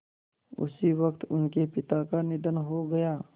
उसी वक़्त उनके पिता का निधन हो गया